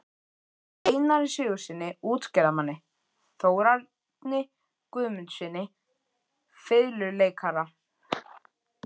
Einari Sigurðssyni útgerðarmanni, Þórarni Guðmundssyni fiðluleikara